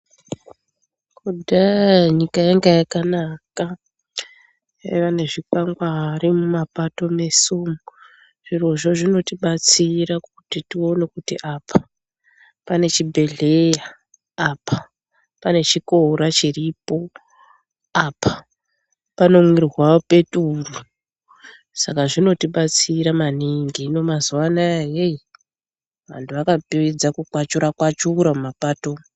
Kudhaya nyika yanga yakanaka kwaiva nezvi kwangari mumapato mweshe umu. Zvirozvo zvino tidetsera kuti tione kuti apa pane chibhedhleya ,apa pane chikora chiripo, apa pano mwira peturu saka zvinotidatsira maningi, hino mazuwa ana hey antu akapera kukwachura kwachura mumapato umu.